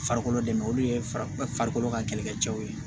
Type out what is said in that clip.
Farikolo dɛmɛ olu ye farikolo ka kɛlɛkɛ cɛw ye